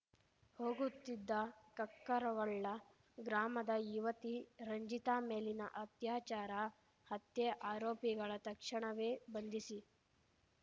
ಹೋಗುತ್ತಿದ್ದ ಕಕ್ಕರಗೊಳ್ಳ ಗ್ರಾಮದ ಯುವತಿ ರಂಜಿತಾ ಮೇಲಿನ ಅತ್ಯಾಚಾರ ಹತ್ಯೆ ಆರೋಪಿಗಳ ತಕ್ಷಣವೇ ಬಂಧಿಸಿ